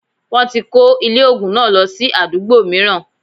Wọ́n ti kó ilé ògùn náà lọ sí àdúgbò mìíràn